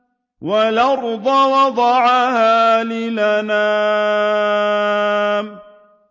وَالْأَرْضَ وَضَعَهَا لِلْأَنَامِ